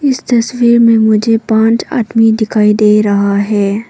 इस तस्वीर में मुझे पांच आदमी दिखाई दे रहा है।